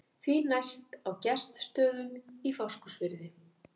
Því næst á Gestsstöðum í Fáskrúðsfirði.